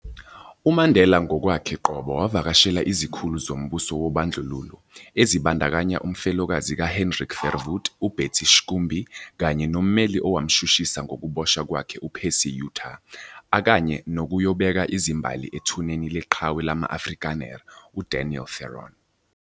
UMandela ngokwakhe qobo wavakashela izikhulu zombuso wobandlululo, ezibandakanya umfelokazi ka-Hendrik Verwoerd uBetsie Schoombie kanye nommelil owamshushisa ngokuboshwa kwakhe uPercy Yutar, akanye nokuyobeka izimbali ethuneni leqhawe lama-Afrikaner u-Daniel Theron.